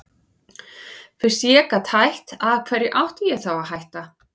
Fyrst ég gat hætt, af hverju átti ég þá að hætta?